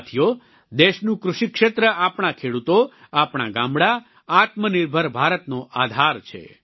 સાથીઓ દેશનું કૃષિ ક્ષેત્ર આપણા ખેડૂતો આપણાં ગામડાં આત્મનિર્ભર ભારતનો આધાર છે